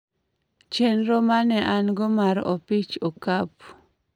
chenro ma ne an go mar opich okapu